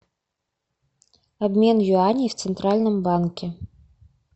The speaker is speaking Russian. обмен юаней в центральном банке